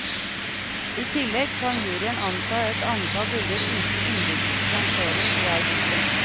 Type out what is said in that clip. I tillegg kan juryen anta et antall bilder uten innbyrdes rangering i hver gruppe.